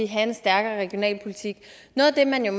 have en stærkere regionalpolitik noget af det man jo